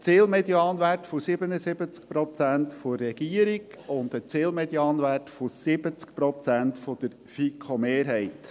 Ein Zielmedianwert von 77 Prozent der Regierung und ein Zielmedianwert von 70 Prozent der FiKoMehrheit.